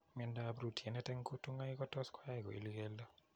Miando ap rootyonet eng' kutunga'aik kotos koyai koil keldo